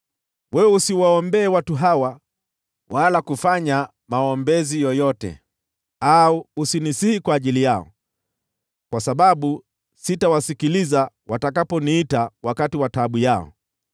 “Wewe usiwaombee watu hawa wala kufanya maombezi yoyote au kunisihi kwa ajili yao, kwa sababu sitawasikiliza watakaponiita wakati wa taabu yao.